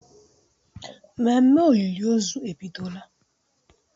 Ememe olili ozu ebidola